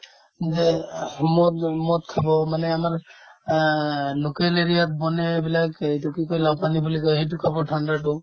যেন আহ্ মদ যাব মদ খাব মানে আমাৰ আ local area ত বনে এইবিলাক এইটো কি কই লাওপানী বুলি কই সেইটো খাব ঠাণ্ডাতো